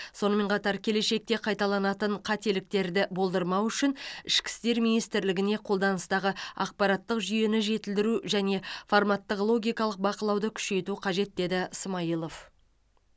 сонымен қатар келешекте қайталанатын қателіктерді болдырмау үшін ішкі істер министрлігіне қолданыстағы ақпараттық жүйені жетілдіру және форматтық логикалық бақылауды күшейту қажет деді смайылов